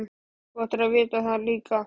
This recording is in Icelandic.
Þú ættir að vita það líka.